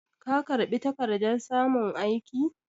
Ka karɓi takardar samun aiki?